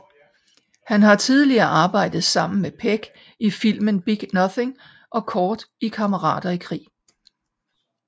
Han har tidligere arbejdet sammen med Pegg i filmen Big Nothing og kort i Kammerater i krig